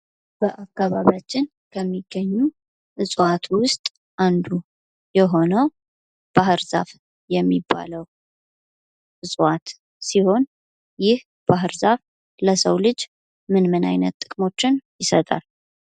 በአከባቢያችን ከሚገኙ እፅዋት ውስጥ አንዱ የሆነው ባህር ዛፍ የሚባለው እጽዋት ሲሆን ይህ ባህር ዛፍ ለሰው ልጅ ምን ምን አይነት ጥቅሞችን ይሰጣል?